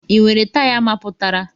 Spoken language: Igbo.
Ị nwere taya mapụtara?